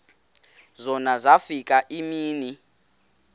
zona zafika iimini